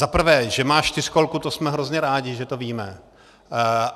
Za prvé, že má čtyřkolku, to jsme hrozně rádi, že to víme.